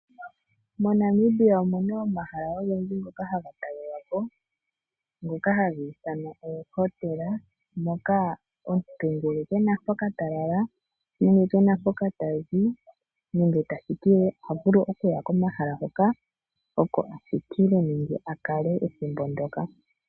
Mo Namibia omuna omahala ogendji ngoka hagatalelwapo, ngoka hagiithanwa oohotela mokaa omuntu ngele kena mpoka talala, nenge kena mpoka tazi nenge tathikile. Ohavulu okuya komahala hoka oko athikile nenge akale ethimbo ndyoka.